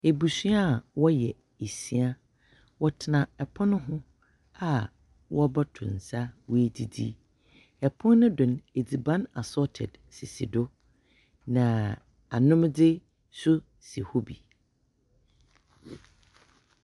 Ebusua a wɔyɛ esia, wɔtsena pon ho a wɔrobɔto nsa na woedzidzi, pon no do, edziban asorted sisi do na anomdze so si hɔ bi.